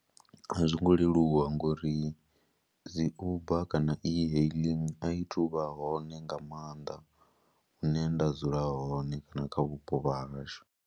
A zwo ngo leluwa ngori dzi Uber kana e-hailing a i thu vha hone nga maanḓa hune nda dzula hone kana kha vhupo vha hashu.